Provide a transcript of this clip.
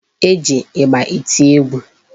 E ji ịgba eti egwu.